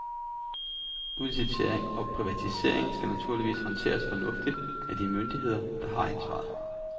Udlicitering og privatisering skal naturligvis håndteres fornuftigt af de myndigheder, der har ansvaret.